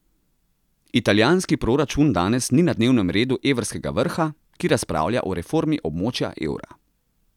Italijanski proračun danes ni na dnevnem redu evrskega vrha, ki razpravlja o reformi območja evra.